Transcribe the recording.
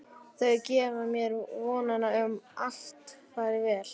Þau gefa mér vonina um að allt fari vel.